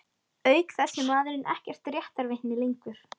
Auk þess er maðurinn ekkert réttarvitni lengur.